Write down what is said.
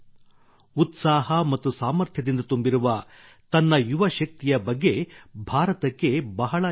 ಉತ್ಸಾಹ ಮತ್ತು ಸಾಮರ್ಥ್ಯದಿಂದ ತುಂಬಿರುವ ತನ್ನ ಯುವ ಶಕ್ತಿಯ ಬಗ್ಗೆ ಭಾರತಕ್ಕೆ ಬಹಳ ಹೆಮ್ಮೆಯಿದೆ